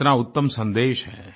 कितना उत्तम सन्देश है